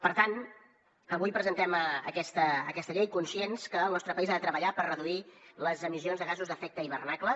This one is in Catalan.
per tant avui presentem aquesta llei conscients que el nostre país ha de treballar per reduir les emissions de gasos d’efecte hivernacle